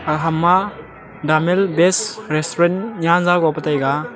ham ma damel best restaurant nyanja go pe taiga.